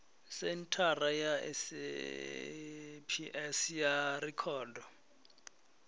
senthara ya saps ya rekhodo